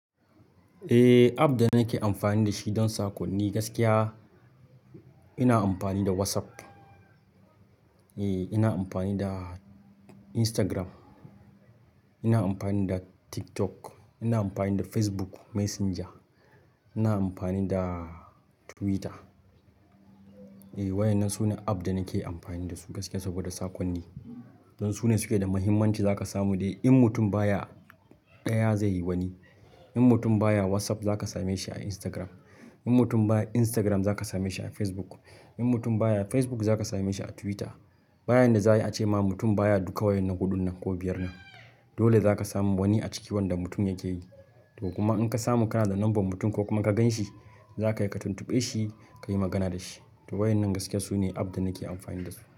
Eh app da nake amfani dashi don saƙonni gaskiya ina amfani da WhatsApp. Eh, ina amfani da Instagram, ina amfani da TikTok, ina amfani da Facebook Messenger, ina amfani da Twitter. E, waƴnnan su ne app da nake amfani da su gaskiya saboda saƙonni. Don su ne suke da mahimmanci za ka samu dai in mutum baya ɗaya zai yi wani. In mutum baya WhatsApp za ka same shi a Instagram. In mutum baya Instagram za ka same shi a Facebook. In mutum baya Facebook za ka same shi a Twitter. Bayan da za a yi ace ma mutum baya duka waƴannan huɗun nan ko biyar nan. Dole za ka samu wani a ciki wanda mutum yake yi. To kuma in ka samu kana da number mutum ko kuma ka gan shi, za ka yi ka tuntuɓe shi ka yi magana da shi. To waɗannan gaskiya su ne app da nake amfani da su.